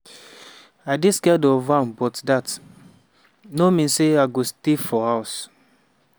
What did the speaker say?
i dey scared of am but dat no mean say i go just stay fro house.